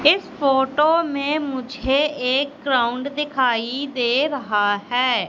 इस फोटो में मुझे एक ग्राउंड दिखाई दे रहा है।